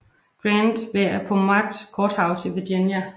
Grant ved Appomattox Courthouse i Virginia